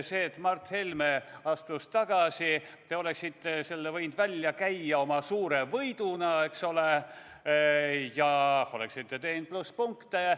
Selle, et Mart Helme astus tagasi, oleksite te võinud välja käia oma suure võiduna, eks ole, ja oleksite teeninud plusspunkte.